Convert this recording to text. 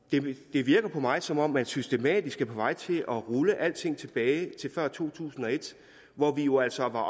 det virker på mig som om man systematisk er på vej til at rulle alting tilbage til før to tusind og et hvor vi jo altså var